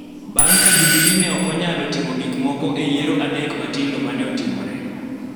bang� ka Jubili ne ok onyalo timo gik moko e yiero adek matindo ma ne otimore,